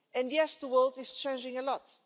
Yes, the world is changing a lot.